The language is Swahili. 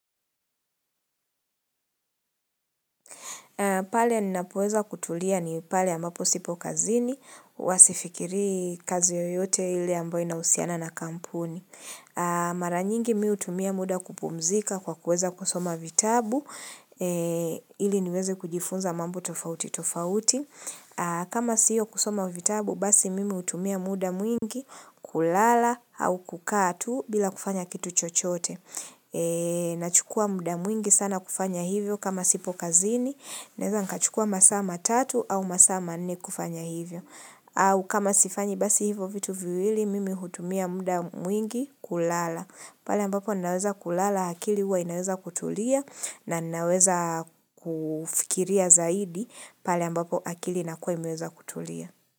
Pale ya ninapoweza kutulia ni pale ya ambapo sipo kazini, huwasifikiri kazi yoyote ili ambayo inahusiana na kampuni. Maranyingi mimi hutumia muda kupumzika kwa kuweza kusoma vitabu, ili niweze kujifunza mambo tofauti tofauti. Kama siyo kusoma vitabu, basi mimi hutumia muda mwingi kulala au kukatu bila kufanya kitu chochote. Nachukua muda mwingi sana kufanya hivyo kama sipo kazini. Naweza nakachukua masaama tatu au masaama nne kufanya hivyo. Au kama sifanyi basi hivyo vitu viwili mimi hutumia muda mwingi kulala. Pale ambapo naweza kulala akili huwa inaweza kutulia na naweza kufikiria zaidi. Pale ambapo akili inakuwa inaweza kutulia.